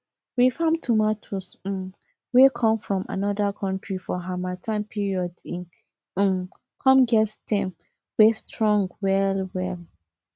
we farm tomatoes um wey come from another country for harmattan period e um come get stem wey strong well well